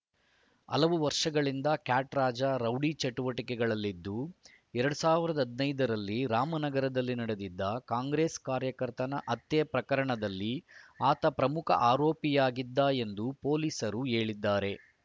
ಹಲವು ವರ್ಷಗಳಿಂದ ಕ್ಯಾಟ್‌ ರಾಜ ರೌಡಿ ಚಟುವಟಿಕೆಗಳಲ್ಲಿದ್ದು ಎರಡ್ ಸಾವಿರದ ಹದಿನೈದ ರಲ್ಲಿ ರಾಮನಗರದಲ್ಲಿ ನಡೆದಿದ್ದ ಕಾಂಗ್ರೆಸ್‌ ಕಾರ್ಯಕರ್ತನ ಹತ್ಯೆ ಪ್ರಕರಣದಲ್ಲಿ ಆತ ಪ್ರಮುಖ ಆರೋಪಿಯಾಗಿದ್ದ ಎಂದು ಪೊಲೀಸರು ಹೇಳಿದ್ದಾರೆ